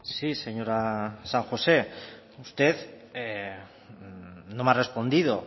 sí señora san josé usted no me ha respondido